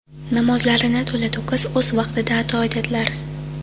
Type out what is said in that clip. Namozlarini to‘la-to‘kis o‘z vaqtida ado etadilar.